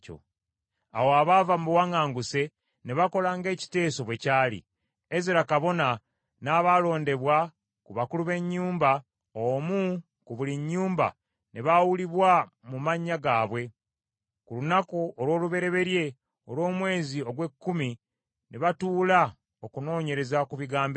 Awo abaava mu buwaŋŋanguse ne bakola ng’ekiteeso bwe kyali. Ezera kabona n’abaalondebwa ku bakulu b’ennyumba, omu mu buli nnyumba ne baawulibwa mu mannya gaabwe. Ku lunaku olw’olubereberye olw’omwezi ogw’ekkumi ne batuula okunoonyereza ku bigambo ebyo;